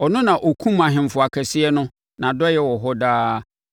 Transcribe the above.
Ɔno na ɔkumm ahemfo akɛseɛ no, Nʼadɔeɛ wɔ hɔ daa.